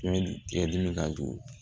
Tigɛli tigɛ dimi ka jugu